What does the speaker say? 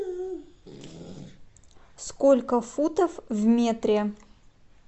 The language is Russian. сколько футов в метре